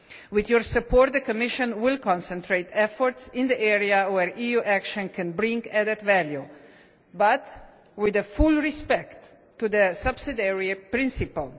With Parliament's support, the Commission will concentrate efforts in the area where EU action can bring added value but with full respect for the subsidiarity principle.